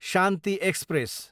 Shanti express